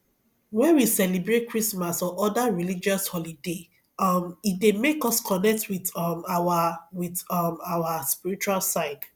when we celebrate christmas or oda religious holoday um e dey make us connect with um our with um our spiritual side